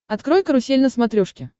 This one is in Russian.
открой карусель на смотрешке